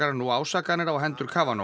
nú ásakanir á hendur